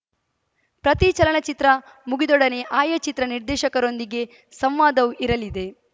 ಪ್ರತಿ ಚಲನಚಿತ್ರ ಮುಗಿದೊಡನೆ ಆಯಾ ಚಿತ್ರ ನಿರ್ದೇಶಕರೊಂದಿಗೆ ಸಂವಾದವೂ ಇರಲಿದೆ